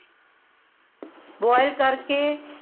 boil ਕਰਕੇ